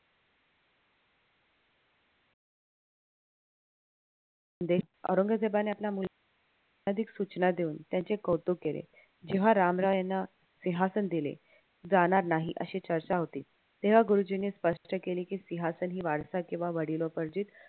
औरंगजेबाने आपला सूचना देऊन त्यांचे कौतुक केले जेव्हा रामराय यांना सिहांसन दिले जाणार नाही अशी चर्चा होती तेव्हा गुरुजींनी स्पष्ट केले कि सिहांसन ही वारसा किंवा वडिलोपर्जित